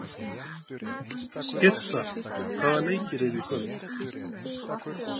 Yrsa, hvaða leikir eru í kvöld?